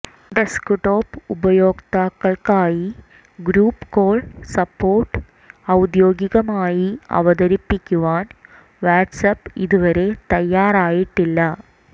desktop ഉപയോക്താക്കൾക്കായി group call support ഔദ്യോഗികമായി അവതരിപ്പിക്കുവാൻ വാട്ട്സ്ആപ്പ് ഇതുവരെ തയ്യാറായിട്ടില്ല